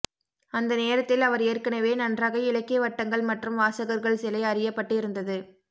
அந்த நேரத்தில் அவர் ஏற்கனவே நன்றாக இலக்கிய வட்டங்கள் மற்றும் வாசகர்கள் சிலை அறியப் பட்டு இருந்தது